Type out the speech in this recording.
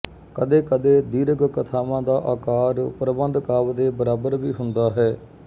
ਕਦੇਕਦੇ ਦੀਰਘ ਕਥਾਵਾਂ ਦਾ ਆਕਾਰ ਪ੍ਰਬੰਧ ਕਾਵਿ ਦੇ ਬਰਾਬਰ ਵੀ ਹੁੰਦਾ ਹੈ